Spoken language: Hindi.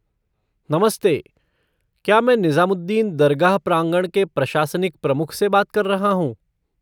नमस्ते, क्या मैं निज़ामुद्दीन दरगाह प्रांगण के प्रशासनिक प्रमुख से बात कर रहा हूँ?